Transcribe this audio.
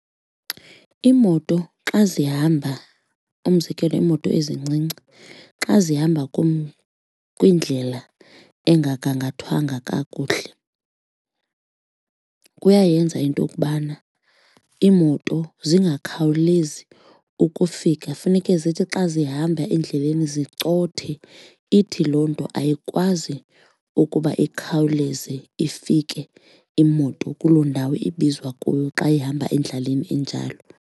Iimoto xa zihamba umzekelo iimoto ezincinci xa zihamba kwindlela engagangathwanga kakuhle kuyayenza into okubana iimoto zingakhawulezi ukufika funeke zithi xa zihamba endleleni zicothe ithi loo nto ayikwazi ukuba ikhawuleze ifike imoto kuloo ndawo ibizwa kuyo xa ihamba endlaleni enjalo.